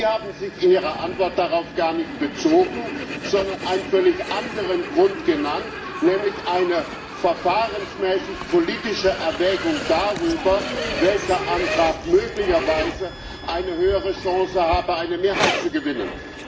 Sie haben sich in Ihrer Antwort darauf gar nicht bezogen, sondern einen völlig anderen Grund genannt, nämlich eine verfahrensmäßig politische Erwägung darüber, welcher Antrag möglicherweise eine höhere Chance habe, eine Mehrheit zu gewinnen.